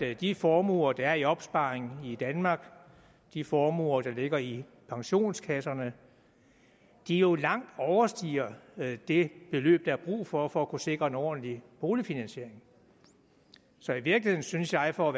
at de formuer der er i opsparing i danmark de formuer der ligger i pensionskasserne jo langt overstiger det beløb der er brug for for at kunne sikre en ordentlig boligfinansiering så i virkeligheden synes jeg for at